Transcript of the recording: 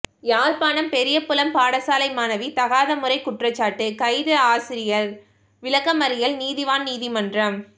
யாழ்ப்பாணம் பெரியபுலம் பாடசாலை மாணவி தகாதமுறை குற்றச்சாட்டு கைது ஆசிரியர் விளக்கமறியல் நீதிவான் நீதிமன்றம்